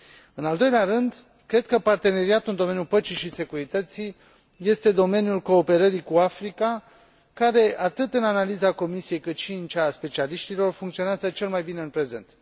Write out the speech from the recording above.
în al doilea rând, cred că parteneriatul în domeniul păcii și securității este domeniul cooperării cu Africa care, atât în analiza Comisiei cât și în cea a specialiștilor, funcționează cel mai bine în prezent.